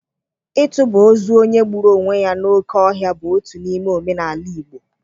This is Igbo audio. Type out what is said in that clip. Ịtụba ozu onye gburu onwe ya n’oké ọhịa bụ otu n’ime omenala Igbo.